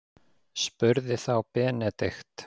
spurði þá Benedikt.